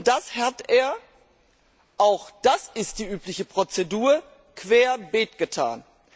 Das hat er auch das ist die übliche Prozedur querbeet getan.